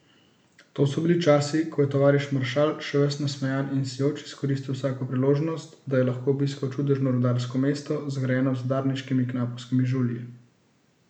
To so bili časi, ko je tovariš maršal še ves nasmejan in sijoč izkoristil vsako priložnost, da je lahko obiskal čudežno rudarsko mesto, zgrajeno z udarniškimi knapovskimi žulji.